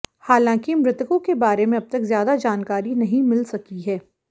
हालांकि मृतकों के बारे में अब तक ज्यादा जानकारी नहीं मिल सकी है